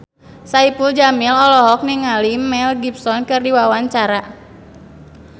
Saipul Jamil olohok ningali Mel Gibson keur diwawancara